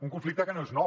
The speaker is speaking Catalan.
un conflicte que no és nou